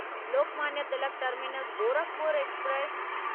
Lokmanya Tilak terminus Gorakhpur express